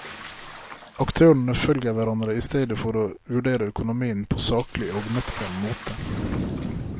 Aktørene følger hverandre i stedet for å vurdere økonomien på saklig og nøktern måte.